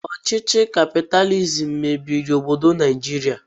Ọchịchị kapitalizim mebiri obodo Naijiria.